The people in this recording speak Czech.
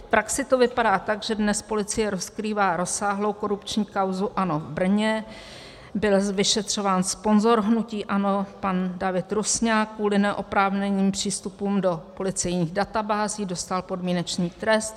V praxi to vypadá tak, že dnes policie rozkrývá rozsáhlou korupční kauzu ANO v Brně, byl vyšetřován sponzor hnutí ANO pan David Rusňák kvůli neoprávněným přístupům do policejních databází, dostal podmínečný trest.